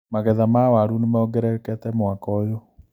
Magetha ma waru nĩmongererekete mwaka ũyũ.